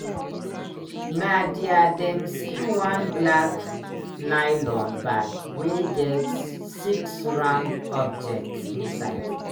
na dia dem see one black nylon bag wey get six round objects inside.